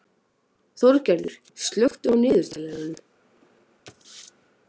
Þorgerður, slökktu á niðurteljaranum.